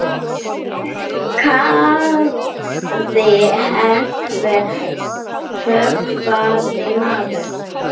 kallaði einhver hugaður maður.